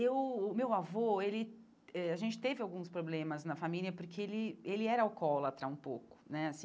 O meu o meu avô, ele eh a gente teve alguns problemas na família porque ele ele era alcoólatra um pouco né assim.